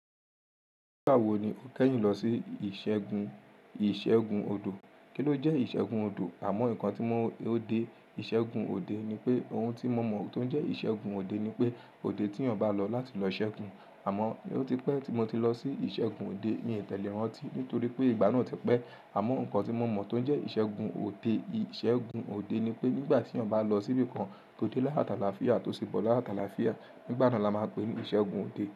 Nígbà wo ni o kẹ́yìn lọ sí ìṣẹ́gun-ìṣẹ́gun òdò? Kí ló jẹ́ ìṣẹ́gun òdò? Àmọ́ nǹkan tí mo ò dé, ìṣẹ́gun òde ni pé ohun tí mo mọ̀ tó jẹ́ ìṣẹ́gun òde ni pé òde tí ọ̀nbà lọ láti lọ ṣẹ́gun. Àmọ́, ó ti pẹ́ tí mo ti lọ sí ìṣẹ́gun òde, mi ò tẹ̀lé rantì nítorí pé ìgbà náà ti pẹ́. Àmọ́ nǹkan tí mo mọ̀ tó jẹ́ ìṣẹ́gun òde, ìṣẹ́gun òde ni pé nígbà tí eeyan bà lọ síbí kan tó dé láyo àti alafíà tó sì bọ̀ láyo àti àláfíà. Nígbà náà la máa ń pe ìṣẹ́gun òde.